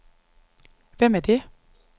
Hvem er det